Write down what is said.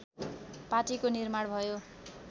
पार्टीको निर्माण भयो